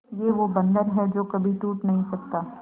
ये वो बंधन है जो कभी टूट नही सकता